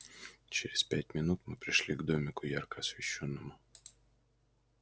через пять минут мы пришли к домику ярко освещённому